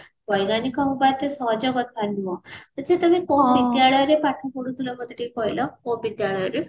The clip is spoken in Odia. ବୈଜ୍ଞାନିକ ହବା ଏତ ସହଜ କଥା ନୁହଁ ଆଛା ତମେ କୋଉ ବିଦ୍ୟାଳୟ ରେ ପାଠ ପଢୁଥିଲ ମତେ ଟିକେ କହିଲ କୋଉ ବିଦ୍ୟାଳୟ ରେ